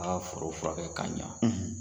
A y'a foro furakɛ ka ɲa